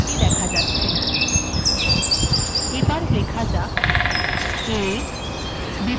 a bএর থেকে ছোট অথবা b এর সমান a bএর থেকে অনেক ছোট